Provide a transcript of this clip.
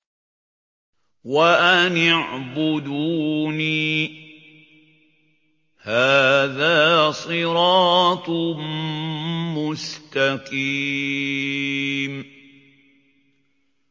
وَأَنِ اعْبُدُونِي ۚ هَٰذَا صِرَاطٌ مُّسْتَقِيمٌ